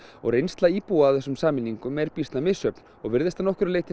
reynsla íbúa af þessum sameiningum er býsna misjöfn og virðist að nokkru leyti